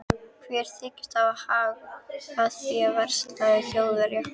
Hver þykist hafa hag af því að versla við Þjóðverja?